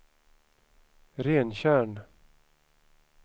Rentjärn